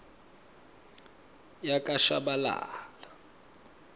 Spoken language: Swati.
yakashabalala